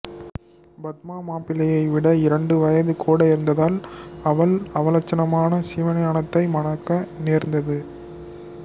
பத்மா மாப்பிள்ளையை விட இரண்டு வயது கூட இருந்ததால் அவள் அவலட்சணமான சிவஞானத்தை மணக்க நேர்ந்தது